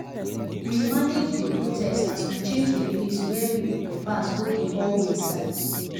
the people start um dey shout for um outside near the entrancebut the um security guards dem handle the matter like expert.